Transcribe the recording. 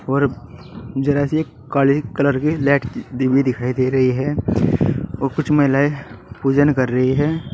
और जरा सी काली कलर की लाइट हुई दिखाई दे रही है और कुछ महिलाएं पूजन कर रही है।